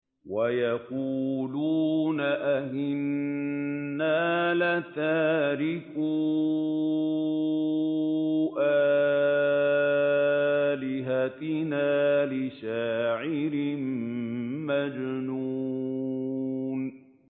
وَيَقُولُونَ أَئِنَّا لَتَارِكُو آلِهَتِنَا لِشَاعِرٍ مَّجْنُونٍ